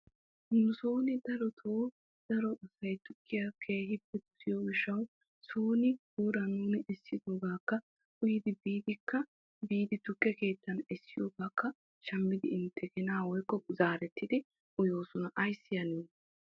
Nusotto darotto daro asay guuran essiddoogga uyiddi tukke keetta biiddi zaariddi uyosonna.